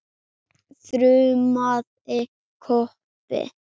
þrumaði Kobbi.